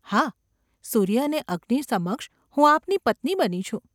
‘હા. સૂર્ય અને અગ્નિ સમક્ષ હું આપની પત્ની બની છું.